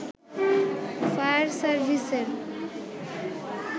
fire সার্ভিসের